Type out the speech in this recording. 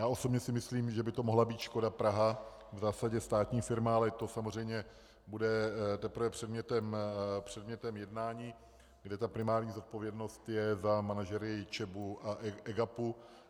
Já osobně si myslím, že by to mohla být Škoda Praha, v zásadě státní firma, ale to samozřejmě bude teprve předmětem jednání, kde ta primární zodpovědnost je za manažery ČEB a EGAP.